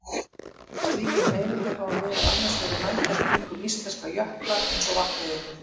Slíkar hreyfingar hafa meðal annars verið mældar kringum íslenska jökla eins og Vatnajökul.